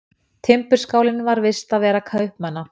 Timburskálinn var vistarvera kaupmanna.